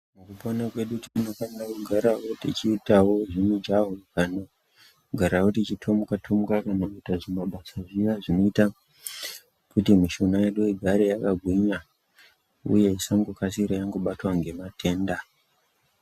Mukupona kwedu tinofanira kugarawo techiitawo zvimujaho kana kugarawo techitomuka tomuka kanakuita zvimabasa zviya zvinoita kuti mishuna yedu igare yakagwinya uye isangokasire yangobatwa ngematenda.